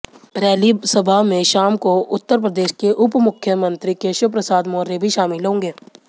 rally सभा में शाम को उत्तरप्रदेश के उपमुख्यमंत्री केशव प्रसाद मौर्य भी शामिल होंगे